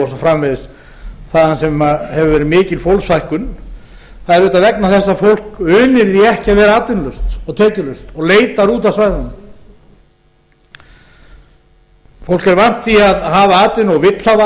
framvegis þaðan sem hefur verið mikil fólksfækkun það er auðvitað vegna þess að fólk unir því ekki að vera atvinnulaust og tekjulaust og leitar út af svæðunum fólk er vant því að hafa atvinnu og vill hafa